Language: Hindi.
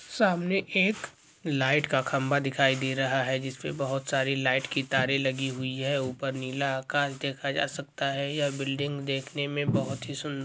सामने एक लाइट का खम्बा दिखाई दे रहा है जिसपे बहुत सारी लाइट की तारें लगी हुई है ऊपर नीला आकाश देखा जा सकता है यह बिल्डिंग देखने में बहुत ही सुन्न --